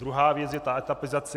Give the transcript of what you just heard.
Druhá věc je ta etapizace.